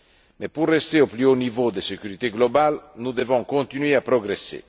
Mais pour rester au plus haut niveau de sécurité globale, nous devons continuer à progresser.